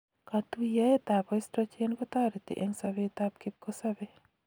katuyaet ap oestrogen kotareti eng sabet ap kipkasabei